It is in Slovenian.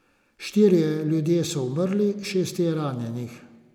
Štirje ljudje so umrli, šest je ranjenih.